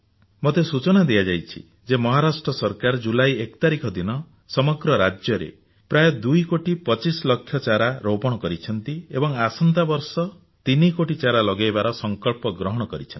ମୋତେ ସୂଚନା ଦିଆଯାଇଛି ଯେ ମହାରାଷ୍ଟ୍ର ସରକାର ଜୁଲାଇ 1 ତାରିଖ ଦିନ ସମଗ୍ର ରାଜ୍ୟରେ ପ୍ରାୟ ଦୁଇ କୋଟି ପଚିଶ ଲକ୍ଷ ଚାରା ରୋପଣ କରିଛନ୍ତି ଏବଂ ଆସନ୍ତା ବର୍ଷ ତିନି କୋଟି ଚାରା ଲଗାଇବାର ସଂକଳ୍ପ ଗ୍ରହଣ କରିଛନ୍ତି